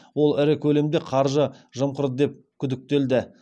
ол ірі көлемде қаржы жымқырды деп күдіктелді